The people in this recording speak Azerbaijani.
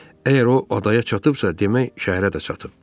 Əgər o adaya çatıbsa, demək şəhərə də çatıb.